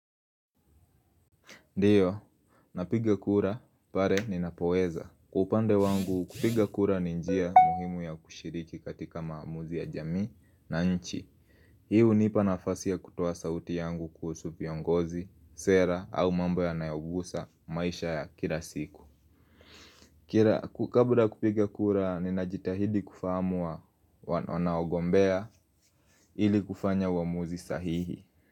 Ndiyo, napiga kura pale ninapoweza. Kwa upande wangu, kupiga kura ni njia muhimu ya kushiriki katika maamuzi ya jamii na nchi. Hii hunipa nafasi ya kutoa sauti yangu kuhusu viongozi, sera au mambo yanayogusa maisha ya kila siku. Kabla kupiga kura ninajitahidi kufahamu wanaogombea ili kufanya uamuzi sahihi.